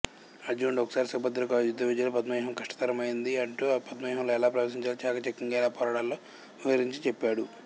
అర్జునుడు ఒకసారి సుభద్రకు యుద్ధవిద్యలో పద్మవ్యూహం కష్టతరమైనది అంటూ పద్మవ్యూహంలో ఎలా ప్రవేశించాలో చాకచక్యంగా ఎలా పోరాడాలో వివరించి చెప్పాడు